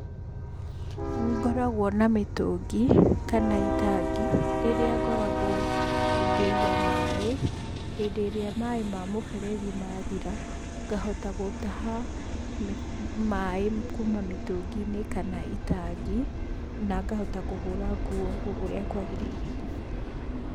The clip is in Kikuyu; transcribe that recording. Nĩngoragwo na mĩtũngĩ kana itangi, rĩrĩa ngoragwo ngĩiga maĩ, hindĩ ĩrĩa maĩ ma mũberethi mathira, ngahota gũtaha maĩ kuuma mĩtũngi-inĩ kana itangi, na ngahota kũhũra nguo ũrĩa kwagĩrĩire.